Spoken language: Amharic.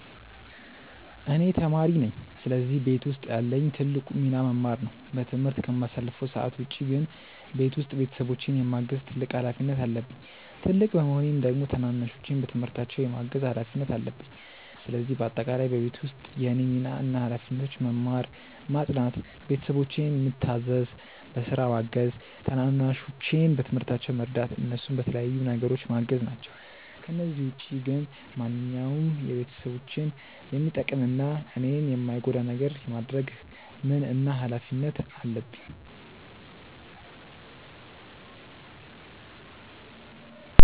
እኔ ተማሪ ነኝ ስለዚህ ቤት ውስጥ ያለኝ ትልቁ ሚና መማር ነው። በትምህርት ከማሳልፈው ሰዓት ውጪ ግን ቤት ውስጥ ቤተሰቦቼን የማገዝ ትልቅ ሀላፊነት አለብኝ። ትልቅ በመሆኔም ደግሞ ታናናሾቼን በትምህርታቸው የማገዝ ሀላፊነት አለብኝ። ስለዚህ በአጠቃላይ በቤት ውስጥ የእኔ ሚና እና ሀላፊነቶች መማር፣ ማጥናት፣ ቤተሰቦቼን ምታዘዝ፣ በስራ ማገዝ፣ ታናናሾቼን በትምህርታቸው መርዳት፣ እነሱን በተለያዩ ነገሮች ማገዝ ናቸው። ከነዚህ ውጪ ግን ማንኛውንም ቤተሰቦቼን የሚጠቅም እና እኔን የማይጎዳ ነገር የማድረግ ምን እና ሀላፊነት አለብኝ።